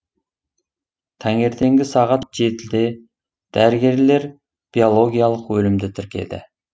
таңертеңгі сағат жетіде дәрігерлер биологиялық өлімді тіркеді